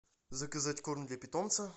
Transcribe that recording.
заказать корм для питомца